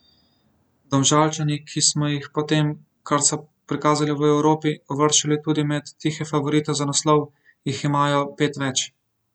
Domžalčani, ki smo jih po tem, kar so prikazali v Evropi, uvrščali tudi med tihe favorite za naslov, jih imajo pet več.